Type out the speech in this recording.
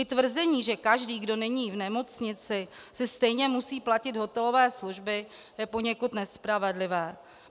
I tvrzení, že každý, kdo není v nemocnici, si stejně musí platit hotelové služby, je poněkud nespravedlivé.